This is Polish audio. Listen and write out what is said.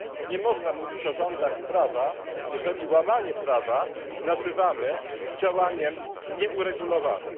Nie można mówić o rządach prawa, jeżeli łamanie prawa nazywamy działaniem nieuregulowanym.